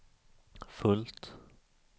fullt